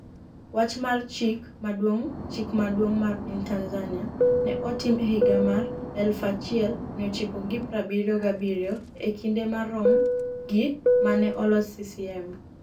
Wach mar Chik Maduong’ Chik Maduong’ mar piny Tanzania ne otim e higa mar 1977; e kinde marom gi ma ne oloso CCM.